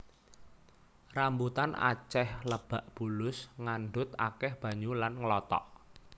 Rambutan acéh lebak bulus ngandhut akéh banyu lan ngelotok